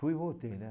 Fui e voltei, né?